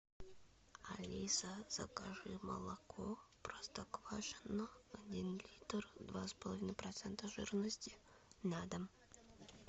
алиса закажи молоко простоквашино один литр два с половиной процента жирности на дом